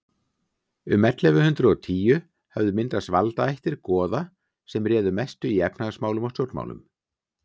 um ellefu hundrað og tíu höfðu myndast valdaættir goða sem réðu mestu í efnahagsmálum og stjórnmálum